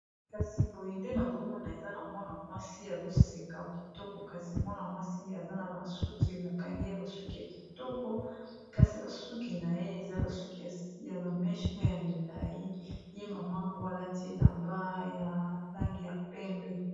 Kasi boye ndenge nazomona eza na mwana mwasi, azoseka kitoko, kasi mwana mwasi aza na basuki bakangi ye basuki ya kitoko, kasi basuki na ye eza basuki ya ba meche oyo ya milai, ye mama yango alati elamba ya langi ya pembe.